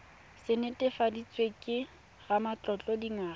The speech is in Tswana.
se netefaditsweng ke ramatlotlo dingwaga